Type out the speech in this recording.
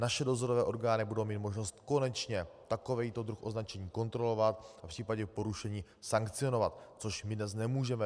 Naše dozorové orgány budou mít možnost konečně takový druh označení kontrolovat a v případě porušení sankcionovat, což my dnes nemůžeme.